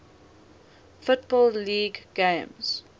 football league games